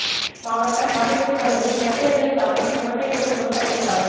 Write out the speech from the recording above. மாவட்டம் வாடிப்பட்டி பகுதியில் நெற்பயிர்களை தாக்கும் செவட்டை நோய் விவசாயிகள் கவலை